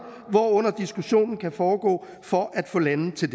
hvorunder diskussionen kan foregå for at få landene til